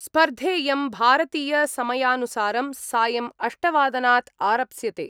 स्पर्धेयं भारतीय समायानुसारं सायम् अष्टवादनात् आरप्स्यते।